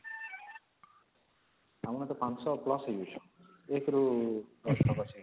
ଆମର ତ ୫୦୦ plus ହେଇଯାଉଛନ୍ତି ୧ ରୁ ୧୦ ତକ ଅଛି କି ନା